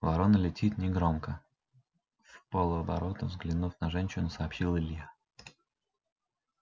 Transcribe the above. ворона летит негромко вполоборота взглянув на женщину сообщил илья